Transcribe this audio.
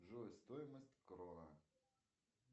джой стоимость крона